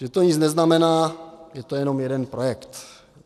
Že to nic neznamená, je to jenom jeden projekt?